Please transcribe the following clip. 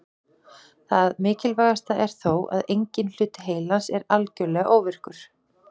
Það mikilvægasta er þó að enginn hluti heilans er algjörlega óvirkur.